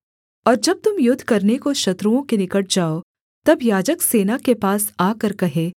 और जब तुम युद्ध करने को शत्रुओं के निकट जाओ तब याजक सेना के पास आकर कहे